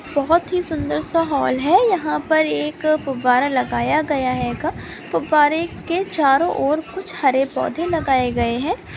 बहुत ही सूंदर सा हॉल है यहाँ पर एक फुब्बारा लगाया गया होगा फुब्बारें के चारो और कुछ हरे पौधे लगाए गए है|